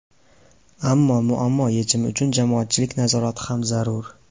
Ammo muammo yechimi uchun jamoatchilik nazorati ham zarur.